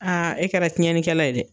Aa e kɛra tiɲɛnlikɛla ye dɛ